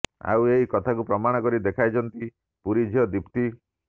ଆଉ ଏହି କଥାକୁ ପ୍ରମାଣ କରି ଦେଖାଇଛନ୍ତି ପୁରୀ ଝିଅ ଦିପ୍ତୀ